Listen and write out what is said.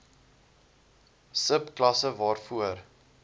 sub klasse waarvoor